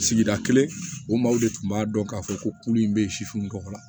Sigida kelen o maaw de tun b'a dɔn k'a fɔ ko kulu in bɛ sifin tɔgɔ la